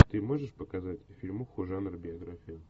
ты можешь показать фильмуху жанр биография